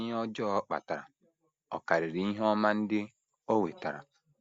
Ma ihe ọjọọ ọ kpatara ọ̀ karịrị ihe ọma ndị o wetara?